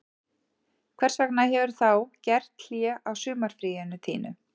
Hvers vegna hefurðu þá gert hlé á sumarfríinu þínu